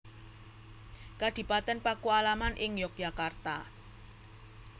Kadipaten Pakualaman ing Yogyakarta